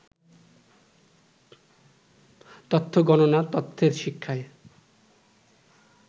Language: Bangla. তত্ত্ব গণনা তত্ত্বের শিক্ষায়